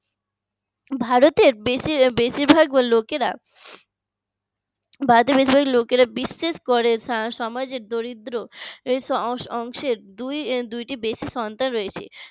ভারতের বেশিরভাগ লোকেরা ভারতে বেশিরভাগ লোকেরা বিশেষ করে সমাজের দরিদ্র অংশের দুইটি basic সমস্যা রয়েছে